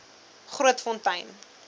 grootfontein